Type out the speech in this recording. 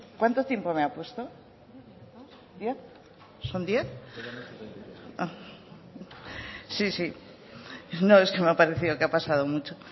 cuánto tiempo me ha puesto diez minutos diez son diez sí sí no es que me ha parecido que ha pasado mucho